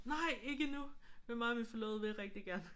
Nej ikke endnu. Men mig og min forlovede vil rigtig gerne